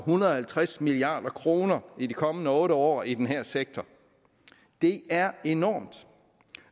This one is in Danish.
hundrede og halvtreds milliard kroner i de kommende otte år i den her sektor det er enormt